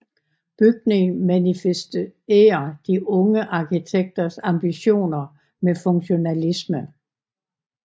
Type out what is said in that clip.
Bygningen manifesterer de unge arkitekters ambitioner med funktionalisme